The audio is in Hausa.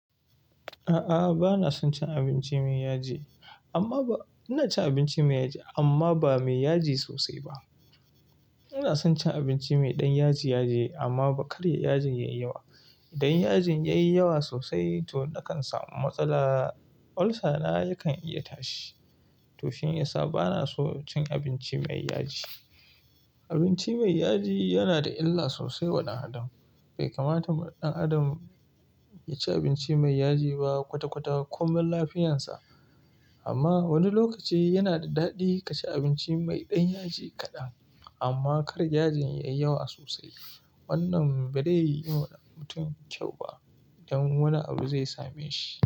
A'a, bana son cin abinci mai yaji. Amma ba-- ina cin abinci mai yaji amma ba mai yaji sosai ba. Ina son cin abinci mai ɗan yaji yaji amma kar yajin yayi yawa. Idan yajin yayi yawa sosai to na kan samu matsala, ulcer na yakan iya tashi. To shi ya sa bana so cin abinci mai yaji. Abinci mai yaji yana da illa sosai wa ɗan adam. Bai kamata ma ɗan adam ya ci abinci mai yaji ba kwata kwata komai lafiyansa. Amma wani lokaci yana da daɗi kaci abinci mai ɗan yaji kaɗan amma kar yajin yayi yawa sosai. Wannan ba zai yi wa ɗan mutum kyau ba idan wani abu zai same shi.